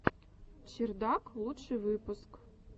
чердак лучший выпуск